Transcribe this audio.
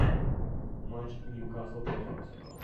матч ньюкасл против арсенала